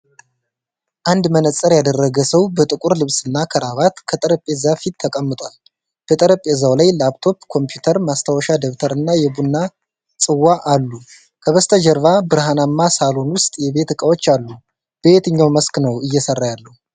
አንድ መነጽር ያደረገ ሰው በጥቁር ልብስና ከረባት ከጠረጴዛ ፊት ተቀምጧል። በጠረጴዛው ላይ ላፕቶፕ ኮምፒዩተር፣ ማስታወሻ ደብተር እና የቡና ጽዋ አሉ። ከበስተጀርባ በብርሃናማ ሳሎን ውስጥ የቤት እቃዎች አሉ፤ በየትኛው መስክ ነው እየሰራ ያለው?